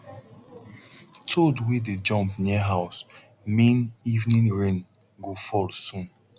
toad wey dey jump near house mean evening rain go fall soon